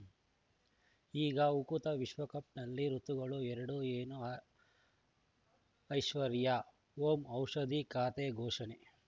ಈಗ ಉಕುತ ಊಟ ವಿಶ್ವಕಪ್‌ನಲ್ಲಿ ಋತುಗಳು ಎರಡು ಏನು ಐಶ್ವರ್ಯಾ ಓಂ ಔಷಧಿ ಖಾತೆ ಘೋಷಣೆ